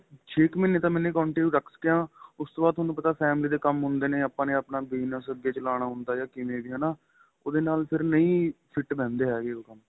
ਛੇ ਕ ਮਹੀਨੇ ਤਾਂ ਮੈਨੇ continue ਰੱਖਿਆ ਉਸ ਤੋ ਬਾਅਦ ਤੁਹਾਨੂੰ ਪਤਾ family ਦੇ ਕੰਮ ਹੁੰਦੇ ਨੇ ਆਪਾਂ ਨੇ ਆਪਣਾ bigness ਅੱਗੇ ਚਲਾਉਣ ਹੁੰਦਾ ਏ ਜਾਂ ਕਿਵੇਂ ਵੀ ਹੈਨਾ ਉਹਦੇ ਨਾਲ ਫ਼ਿਰ ਨਹੀਂ fit ਬੈਦੇ ਹੈਗੇ ਉਹ ਕੰਮ